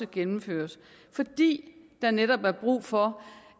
gennemføres fordi der netop er brug for